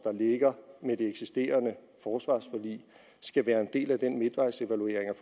ligger med det eksisterende forsvarsforlig skal være en del af den midtvejsevaluering